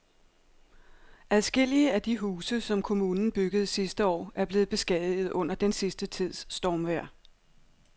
Adskillige af de huse, som kommunen byggede sidste år, er blevet beskadiget under den sidste tids stormvejr.